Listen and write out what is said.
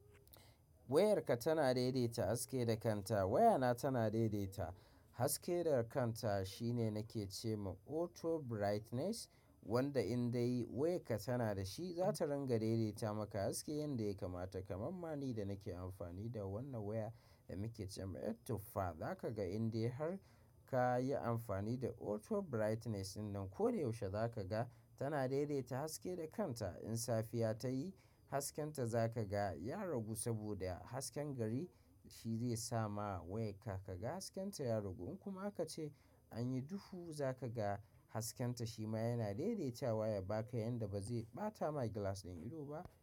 Wayarka tana daidaita haske da kanta. Wayana tana daidaita haske da kanta shine nake ce ma auto brightness wanda in dai wayarka tana da shi za ta ringa daidaita maka haske yanda ya kamata. Kamammani da nake amfani da wannan waya da muke cema autofa, za ka ga indai har ka yi amfani da auto brightness din nan. Ko da yaushe za ka ga tana daidaita haske da kanta. In safiya ta yi, hasken ta za ka ga ya ragu saboda hasken gari shi zai sama wayarka ka ga hasken ta ya ragu. In kuma aka ce anyi duhu za ka ga hasken ta shi ma yana daidaitawa ya baka yanda ba zai ɓata mai gilas ɗin ido ba.